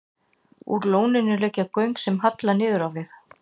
Úr lóninu liggja göng sem halla niður á við.